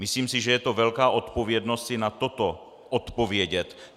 Myslím si, že je to velká odpovědnost i na toto odpovědět.